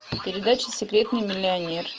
передача секретный миллионер